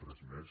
res més